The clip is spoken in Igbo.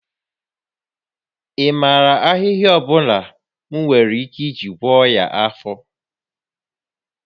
Ị maara ahịhịa ọ bụla m nwere ike iji gwọọ ọnya afọ?